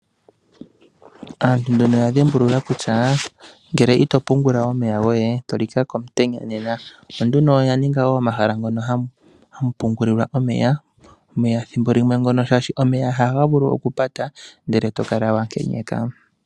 Aantu nduno oya dhimbulula kutya ngele ito pungula omeya goye, to lika komutenya nena. Opo nduno oya ninga omahala hamu pungulilwa omeya. Omeya ngono shaashi ethimbo limwe omeya ohaga vulu okupata, ndele to kala wa nkenyeka.